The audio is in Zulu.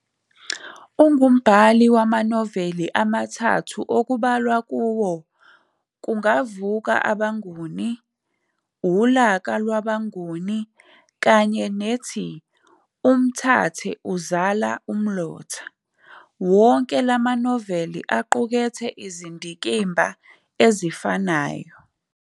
Ungumbhali wamanoveli amathathu okubalwa kuwo,"Kungavuka Abanguni", "Ulaka Lwabanguni" kanye nethi "Umthathe Uzala Umlotha" wonke lamanoveli aqukethe izindikimba ezifanyo.